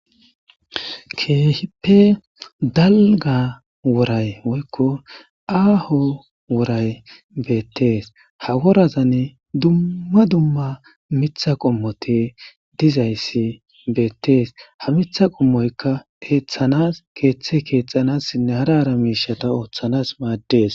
Keehippe dalgga woorayi woykko aaho wooray beettes ha woorazan dumma dumma miiththa qoommotti diizayssi beettes ha miiththa qoommoykka eeththanas keeththe keeththanasinne hara hara miishshata ooththanas maaddes